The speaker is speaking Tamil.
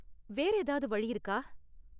வேற ஏதாவது வழி இருக்கா?